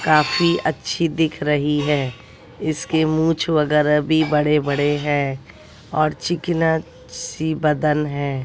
काफी अच्छी दिख रही है इसके मूंछ वगैरह भी बड़े बड़े है और चिकना सी बदन है।